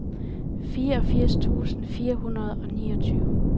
fireogfirs tusind fire hundrede og niogtyve